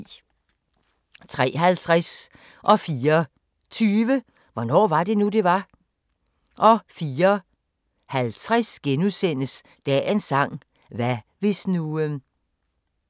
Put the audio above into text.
03:50: Hvornår var det nu, det var? 04:20: Hvornår var det nu, det var? 04:50: Dagens sang: Hvad hvis nu *